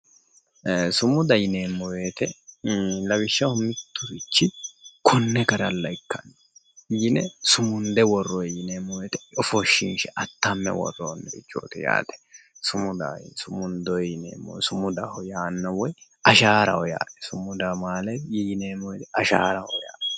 Ee'e sumuda yinneemmo woyte ii'i lawishshaho miturichi kone garalla woyi ikka yinne sumunde worronni yinneemmo woyte ofoshinshe atame worronirichoti yaate sumuda sumundoni yinneemmo, sumudaho yaano woyi asharaho yaate, sumudaho maaleti asharaho yaate.